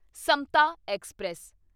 Samta express